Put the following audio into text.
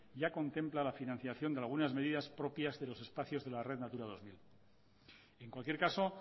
ya contempla la financiación de algunas medidas propias de los espacios de red natura dos mil en cualquier caso